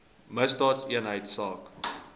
misdaadeenheidsaak